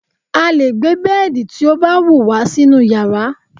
a lè gbé bẹ́ẹ̀dì tí ó bá wù wá sínú yàrá